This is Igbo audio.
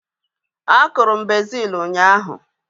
A kụrụ m bezil ụnyaahụ